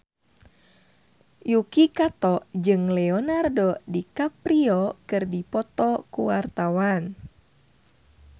Yuki Kato jeung Leonardo DiCaprio keur dipoto ku wartawan